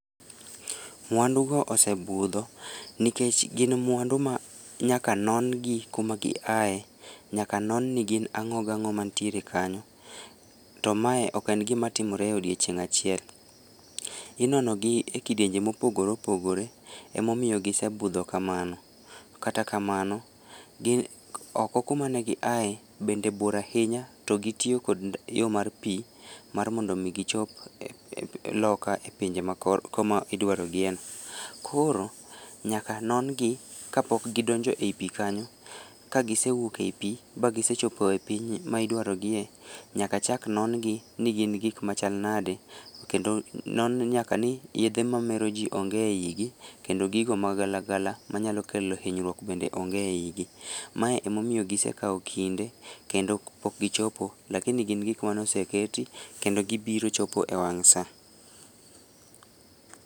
Mwandu go osebudho, nikech gin mwandu ma nyaka non gi kuma gi ae, nyaka non ni gin ang'o gang'o mantiere kanyo. To mae ok en gimatimore e odiechieng' achiel. Inono gi e kidienje mopogore opogore, emomiyo gisebudho kamano. Kata kamano, gin oko kuma negiae bende bor ahinya to gitiyo kod yo mar pii mar mondo mi gichop loka e pinje ma ko koma idwaro gie no. Koro, nyaka non gi kapok gidonjo ei pii kanyo. Kagisewuok ei pii ba gisechopo e piny ma idwarogie, nyaka chak non gi ni gin gik machal nade, kedo non nyaka ni yedhe mamero jii onge eyigi, kendo gigo magalagala manyalo kelo hinyruok bende onge eyigi. Mae emomiyo gisekawo kinde, kendo pok gichopo, lakini gin gik manoseketi kendo gibiro chopo ewang' saa